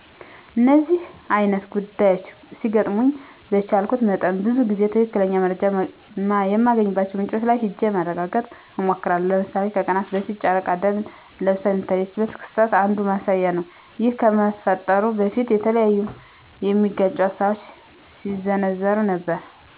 እነደዚህ አይነት ጉዳዮች ሲገጥሙኝ በቻልኩት መጠን ብዙ ጊዜ ትክክለኛ መረጃ የማገኝባቸውን ምንጮች ላይ ሂጀ ለማረጋገጥ እሞክራለሁ። ለምሳሌ ከቀናት በፊት ጨረቃ ደም ለብሳ የታየችበት ክስተት አንዱ ማሳያ ነው ይህ ከመፈጠሩ በፊት የተለያዩ የሚጋጩ ሀሳቦች ሲዘነዘሩ ነበረ።